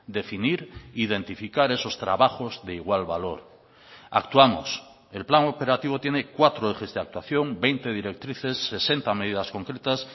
definir identificar esos trabajos de igual valor actuamos el plan operativo tiene cuatro ejes de actuación veinte directrices sesenta medidas concretas